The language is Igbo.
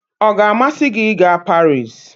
ọ ga-amasị gị ịga Paris?